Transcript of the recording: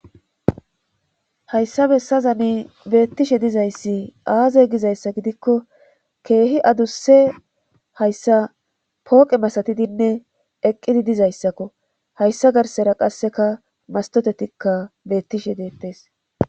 hayssa bessa zami beettishe dizayssi aaze gizayssa gidikko keehi adusse hayssa pooqe masatidinne eqqidi dizayssakko hayssa garsera qasseka mastotetikka beettishe deettes